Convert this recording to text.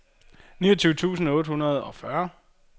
niogtyve tusind otte hundrede og fyrre